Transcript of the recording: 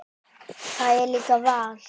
Það er líka val.